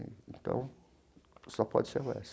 Então, só pode ser a UESP.